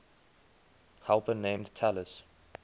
helper named talus